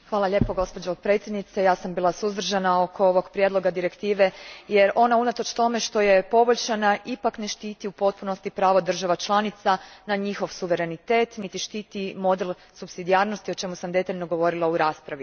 Gospođo predsjednice, bila sam suzdržana oko ovog prijedloga direktive, jer ona unatoč tome što je poboljšana ipak ne štiti u potpunosti pravo država članica na njihov suverenitet niti štiti model supsidijarnosti o čemu sam detaljno govorila u raspravi.